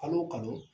Kalo o kalo